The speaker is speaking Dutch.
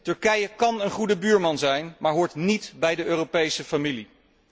Turkije kan een goede buurman zijn, maar hoort niet bij de Europese familie.